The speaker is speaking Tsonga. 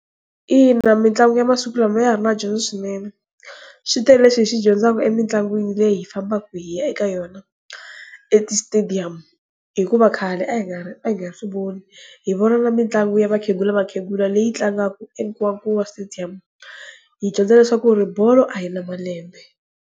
Ina, mitlangu yamasiku lama ya ha ri na dyondzo swinene, swi tele leswi hi swi dyondzaku emitlangwini leyi hi fambaka hi ya eka yona etisitediyamu hikuva khale a hi nga swivoni hi vona na mitlangu ya vakhegula vakhegula leyi tlangaka eNkowakowa stadium hi dyondza leswaku bolo a yi na malembe.